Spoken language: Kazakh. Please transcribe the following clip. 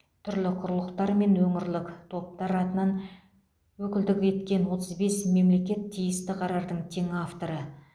түрлі құрлықтар мен өңірлік топтар атынан өкілдік еткен отыз бес мемлекет тиісті қарардың тең авторы